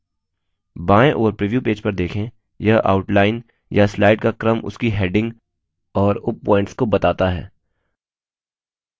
बाएं ओर preview page पर देखें यह outline या slides का क्रम उसकी headings और उपpoints के बताता है